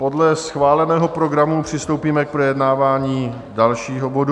Podle schváleného programu přistoupíme k projednávání dalšího bodu